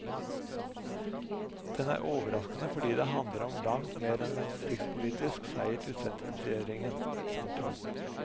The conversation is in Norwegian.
Den er overraskende fordi det handler om langt mer enn en distriktspolitisk seier til sentrumsregjeringen. punktum